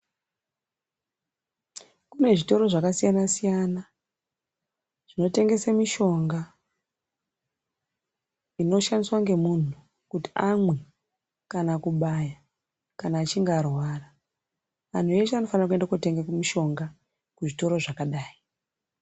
Kune zvitoro zvakasiyanasiyana zvinotengese mishonga inoshandiswe ngemunhu kuti amwe kana kubaya kana achinge arwara anhu eshe anofane kootenge mishonga kuzvitoro zvakadai.